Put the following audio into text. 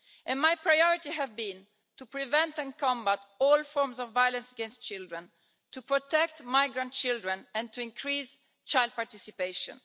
and my priority has been to prevent and combat all forms of violence against children, to protect migrant children and to increase child participation.